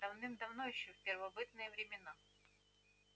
давным-давно ещё в первобытные времена